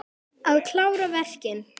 Að klára verkin.